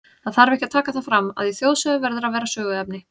Það þarf ekki að taka það fram, að í þjóðsögu verður að vera söguefni.